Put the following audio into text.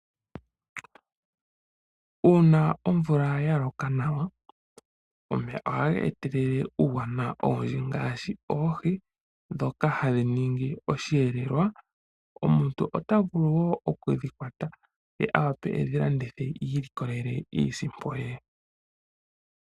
Uuna omvula ya loka nawa, omeya ohaga etelele uuwanawa owundji ngaashi oohi ndhoka hadhi ningi osheelelwa. Omuntu ota vulu wo okudhikwata ye a wape edhi landithe ilikolele iisimpo ye.